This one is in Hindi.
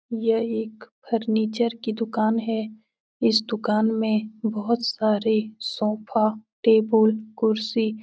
यह एक फर्नीचर की दुकान है। इस दुकान में बोहोत सारे सोफ़ा टेबुल कुर्सी --